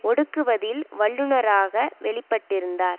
ஒடுக்குவதில் வல்லுனராக வெளிப்பட்டிருந்தார்